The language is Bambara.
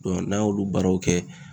n'an y'olu baaraw kɛ.